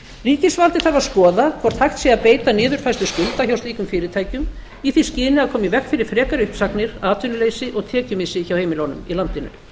ríkisvaldið þarf að skoða hvort hægt sé að beita niðurfærslu skulda hjá slíkum fyrirtækjum í því skyni að koma í veg fyrir frekari uppsagnir atvinnuleysi og tekjumissi hjá heimilunum í landinu